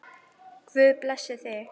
Guð blessi þig!